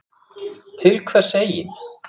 Til hvers eigin